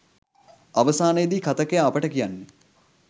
අවසානයේදී කථකයා අපට කියන්නේ